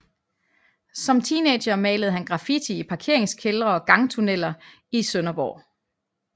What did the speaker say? Som teenager malede han graffiti i parkeringskældre og gangtunneller i Sønderborg